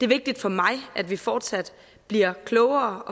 vigtigt for mig at vi fortsat bliver klogere